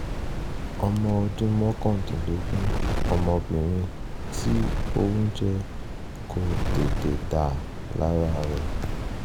ọmọ ọdún mọ́kàndínlógún ọmọbìnrin tí oúnjẹ kò tètè dà lára rẹ̀